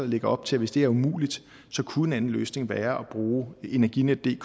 lægger op til at hvis det er umuligt så kunne en anden løsning være at bruge energinetdk